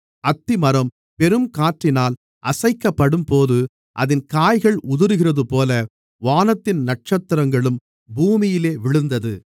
அத்திமரம் பெருங்காற்றினால் அசைக்கப்படும்போது அதின் காய்கள் உதிருகிறதுபோல வானத்தின் நட்சத்திரங்களும் பூமியிலே விழுந்தது